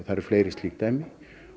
eru fleiri slík dæmi